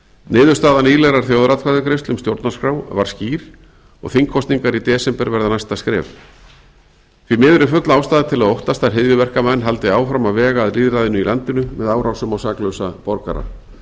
niðurstaða nýlegrar þjóðaratkvæðagreiðslu um stjórnarskrá var skýr og þingkosningar í desember verða næsta skref því miður er full ástæða til að óttast að hryðjuverkamenn haldi áfram að vega að lýðræðinu í landinu með árásum á saklausa borgara